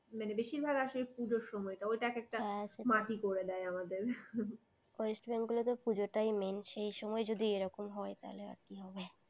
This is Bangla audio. মানে বেশিরভাগ আসে সেই পুজোর সময়টা। ওইটা এক একটা মাটি করে দেয় আমাদের west bengal এ তো পূজোটাই মেন সেই সময় যদি এরকম হয় তাহলে আর কি হবে।